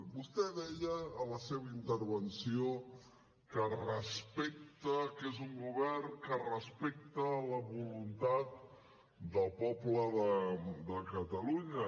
vostè deia en la seva intervenció que respecta que és un govern que respecta la voluntat del poble de catalunya